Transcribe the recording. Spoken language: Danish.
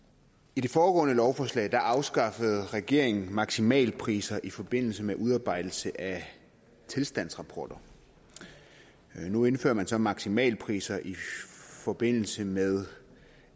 i det foregående lovforslag afskaffede regeringen maksimalpriser i forbindelse med udarbejdelse af tilstandsrapporter nu indfører man så maksimalpriser i forbindelse med